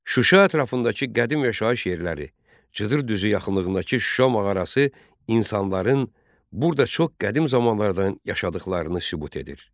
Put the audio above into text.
Şuşa ətrafındakı qədim yaşayış yerləri, cıdır düzü yaxınlığındakı Şuşa mağarası insanların burda çox qədim zamanlardan yaşadıqlarını sübut edir.